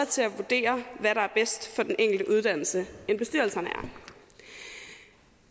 til at vurdere hvad der er bedst for den enkelte uddannelse end bestyrelserne er